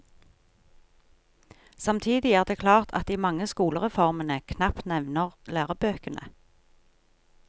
Samtidig er det klart at de mange skolereformene knapt nevner lærebøkene.